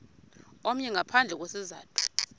omnye ngaphandle kwesizathu